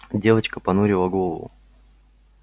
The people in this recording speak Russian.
девочка понурила голову